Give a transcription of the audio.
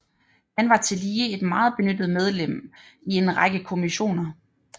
Han var tillige et meget benyttet medlem i en række kommissioner